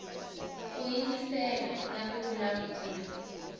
ku yingisela na ku vulavula